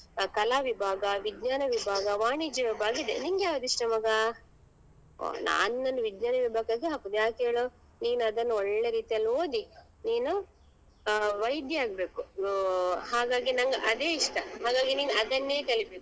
ಕಲಾ ವಿಭಾಗ, ವಿಜ್ಞಾನ ವಿಭಾಗ, ವಾಣಿಜ್ಯ ವಿಭಾಗ ಇದೆ ನಿಂಗೆ ಯಾವ್ದ್ ಇಷ್ಟ ಮಗ ಹೊ ನಾನ್ ನಿನ್ನನ್ನು ವಿಜ್ಞಾನ ವಿಭಾಗಕ್ಕೆ ಹಾಕುದ್ ಯಾಕ್ ಹೇಳು ನೀನ್ ಅದನ್ನ್ ಒಳ್ಳೆ ರೀತಿಯಲ್ಲಿ ಓದಿ ನೀನು ಆ ವೈದ್ಯ ಆಗ್ಬೇಕು ಆಹ್ ಹಾಗಾಗಿ ನಂಗ್ ಅದೇ ಇಷ್ಟ ಹಾಗಾಗಿ ನೀನ್ ಅದನ್ನೇ ಕಲಿಬೇಕು.